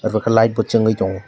omo ke light bo chungui tongo.